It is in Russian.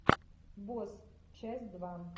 босс часть два